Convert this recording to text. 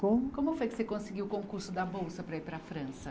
Como? Como foi que você conseguiu o concurso da bolsa para ir para a França?